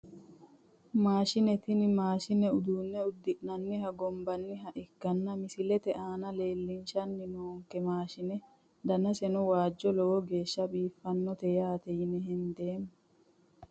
Maashine tene mashineni uduune udinaniha gonbaniha ikanna misilete aana leelishani nok mashine danaseno waajo lowo geesha biifanotee yaate yine hendeemo.